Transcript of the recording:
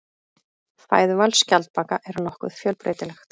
Fæðuval skjaldbaka er nokkuð fjölbreytilegt.